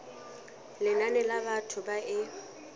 lenane la batho ba e